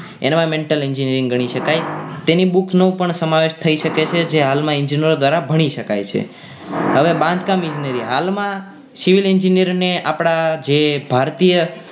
Environmental engineering ઘણી શકાય તેની books નો પણ સમાવેશ થઈ શકે છે જે હાલમાં ઇજનોર દ્વારા ભણી શકાય છે હવે બાંધકામ ઇજનેરી હાલમાં civil engineer ને આપણા જે ભારતીય